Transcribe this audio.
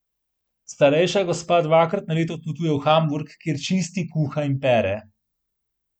Starejša gospa dvakrat na leto odpotuje v Hamburg, kjer čisti, kuha in pere.